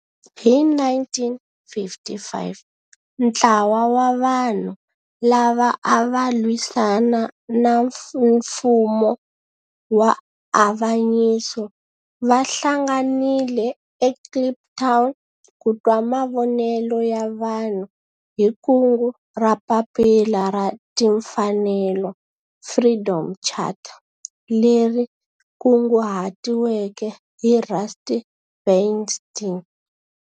Hi 1955 ntlawa wa vanhu lava ava lwisana na nfumo wa avanyiso va hlanganile eKliptown ku twa mavonelo ya vanhu hi kungu ra Papila ra Tinfanelo, Freedom Charter leri kunguhatiweke hi Rusty Bernstein.